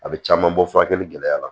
A bɛ caman bɔ furakɛli gɛlɛyara